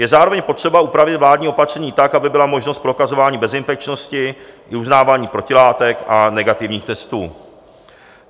Je zároveň potřeba upravit vládní opatření tak, aby byla možnost prokazování bezinfekčnosti i uznávání protilátek a negativních testů.